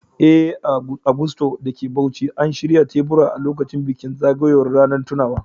Eh, a Gusto da ke Bauchi, an shirya teburi a lokacin bikin zagayowar ranar tunawa.